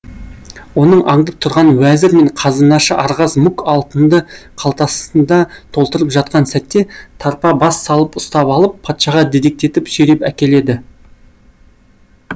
оның аңдып тұрған уәзір мен қазынашы архаз мук алтынды қалтасында толтырып жатқан сәтте тарпа бас салып ұстап алып патшаға дедектетіп сүйреп әкеледі